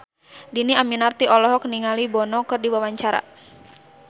Dhini Aminarti olohok ningali Bono keur diwawancara